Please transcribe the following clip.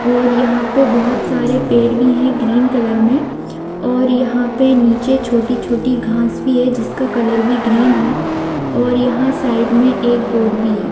और यहां पे बहुत सारे पेड़ भी हैं ग्रीन कलर में। और यहाँ पे नीचे छोटी-छोटी घांस भी है जिसका कलर भी ग्रीन है। और यहां साइड में एक बोर्ड भी है।